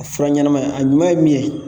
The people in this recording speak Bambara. Fura ɲɛnama a ɲuman ye min ye